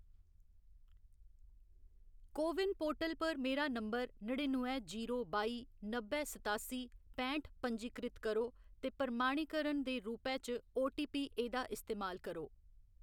को win portal पर मेरा नंबर नड़िनुए जीरो बाई नब्बै सतासी पैंठ पंजीकृत करो ते प्रमाणीकरण दे रूपै च ओटीपी एह्‌दा इस्तेमाल करो।